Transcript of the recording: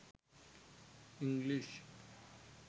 english